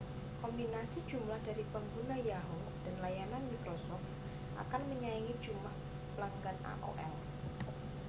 kombinasi jumlah dari pengguna yahoo dan layanan microsoft akan menyaingi jumlah pelanggan aol